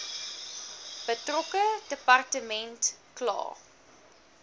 betrokke departement kla